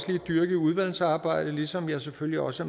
lige dyrke i udvalgsarbejdet ligesom jeg selvfølgelig også